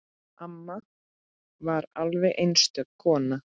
Amma var alveg einstök kona.